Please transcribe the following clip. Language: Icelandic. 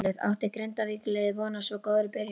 Átti Grindavíkur liðið von á svo góðri byrjun?